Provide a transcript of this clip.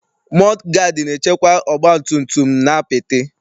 Mọdụ gaadị na-echekwa ọgbatumtum n'apịtị.